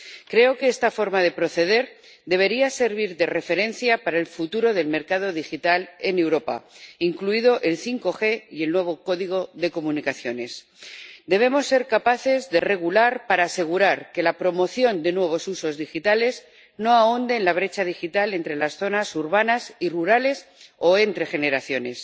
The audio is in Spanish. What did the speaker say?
Creo que esta forma de proceder debería servir de referencia para el futuro del mercado digital en Europa, incluidos el 5G y el nuevo código de comunicaciones. Debemos ser capaces de regular para asegurar que la promoción de nuevos usos digitales no ahonde en la brecha digital entre las zonas urbanas y rurales o entre generaciones.